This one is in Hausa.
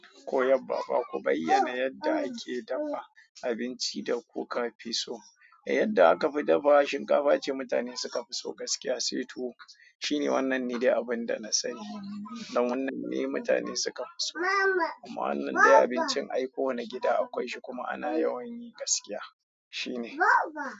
Koyaba ba ku bayyana yadda ake dafa abinci da ko ka fi so. Eh yadda aka fi dafawa shinkafa ce mutane suka fi so gaskiya sai tuwo shi ne wannan ne dai abinda na sani. Dan wannan ne mutane suka fi so. Amma wannan dai abincin ai kowane gida akwai shi kuma ana yawan yi gaskiya shi ne.